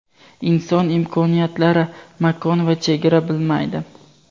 inson imkoniyatlari makon va chegara bilmaydi.